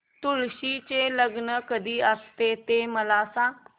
तुळशी चे लग्न कधी असते ते मला सांग